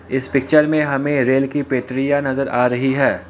इस पिक्चर में हमें रेल की पटरियां नजर आ रही है।